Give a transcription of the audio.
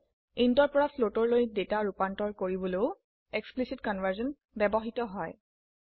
int ৰ পৰা floatলৈ ডেটা ৰুপান্তৰ কৰিবলও এক্সপ্লিসিট কনভাৰ্সন ব্যবহৃত হয়